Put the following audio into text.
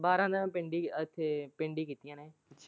ਬਾਰਾਂ ਮੈਂ ਪਿੰਡ ਹੀ ਇੱਥੇ ਪਿੰਡ ਹੀ ਕੀਤੀ ਆ।